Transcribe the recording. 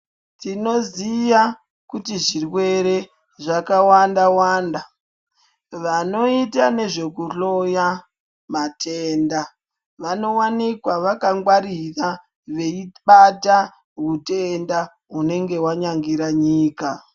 Tinoziya kuti zvirwere zvakawanda wanda. Vanoita nezvekuhloya matenda, vanowanikwa vakangwarira veyibata hutenda hunenge wanyangira nyika.